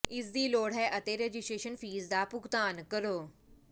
ਇਸ ਦੀ ਲੋੜ ਹੈ ਅਤੇ ਰਜਿਸਟਰੇਸ਼ਨ ਫੀਸ ਦਾ ਭੁਗਤਾਨ ਕਰੋ